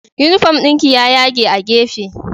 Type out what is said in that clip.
Unifom ɗinki ya yage a gefe